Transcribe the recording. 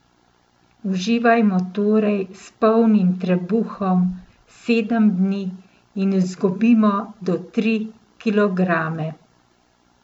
Uživajmo torej s polnim trebuhom sedem dni in izgubimo do tri kilograme!